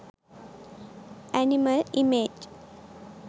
animal image